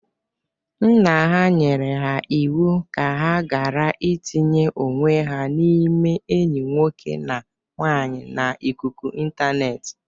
Nna ha nyere ha iwu ka ha gara itinye onwe ha n'ime enyi nwoke na nwaanyị n'ikuku ịntanetị.